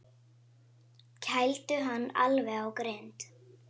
Kældu hann alveg á grind.